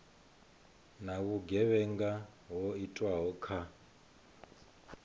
na vhugevhenga ho itwaho kha